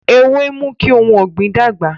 Ewé ń mú kí ohun ọ̀gbìn dàgbà